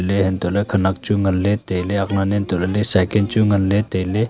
de angtoh ley khenek chu ngan ley tailey akk lan leh antoh ley cycle chu ngan ley tailey.